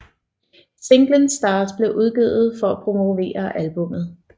Singlen Stars blev udgivet for at promovere albummet